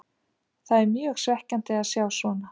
Það er mjög svekkjandi að sjá svona.